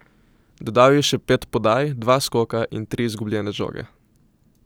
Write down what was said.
Dodal je še pet podaj, dva skoka in tri izgubljene žoge.